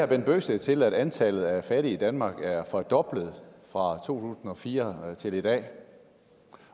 bent bøgsted til at antallet af fattige i danmark er fordoblet fra to og fire til i dag